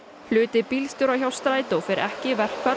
hluti bílstjóra hjá Strætó fer ekki í verkfall